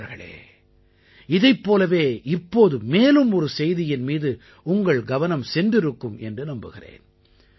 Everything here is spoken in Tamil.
நண்பர்களே இதைப் போலவே இப்போது மேலும் ஒரு செய்தியின் மீது உங்கள் கவனம் சென்றிருக்கும் என்று நம்புகிறேன்